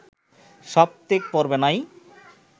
সৌপ্তিক পর্বে নাই